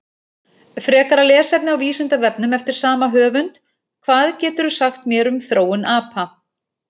Frekara lesefni á Vísindavefnum eftir sama höfund: Hvað geturðu sagt mér um þróun apa?